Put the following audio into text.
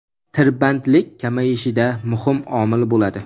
tirbandlik kamayishida muhim omil bo‘ladi.